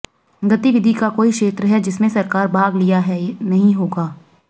गतिविधि का कोई क्षेत्र है जिसमें सरकार भाग लिया है नहीं होगा